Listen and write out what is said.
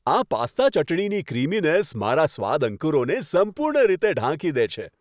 આ પાસ્તા ચટણીની ક્રીમીનેસ મારા સ્વાદ અંકુરોને સંપૂર્ણ રીતે ઢાંકી દે છે.